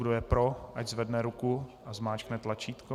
Kdo je pro, ať zvedne ruku a zmáčkne tlačítko.